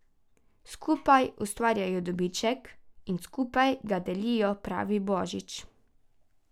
Skupaj ustvarjajo dobiček in skupaj ga delijo, pravi Božič.